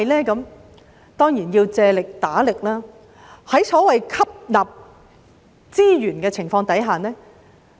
我們當然要借力打力，吸納資源。